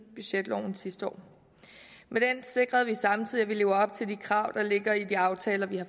budgetloven sidste år med den sikrede vi samtidig at vi lever op til de krav der ligger i de aftaler vi har